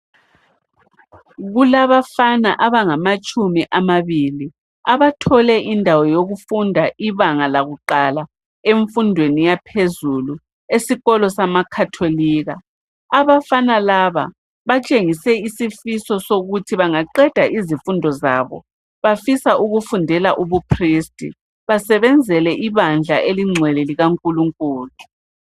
Kulabafana abangamatshumi amabili. Abathole indawo yokufunda ibanga lakuqala emfundweni yaphezulu, esikolo samaKatholika. Abafana kaba batshengise isifiso sokuthi bangaqeda izifundo zabo, Bafisa ukufundela ubupristi. Basebenzele ibandla eliyingcwele, likaNkulunkulu.